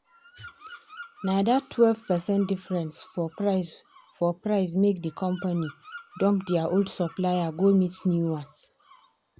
na that twelve percent difference for price for price make the company dump their old supplier go meet new one.